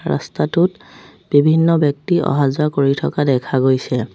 ৰাস্তাটোত বিভিন্ন ব্যক্তি অহা যোৱা কৰি থকা দেখা গৈছে।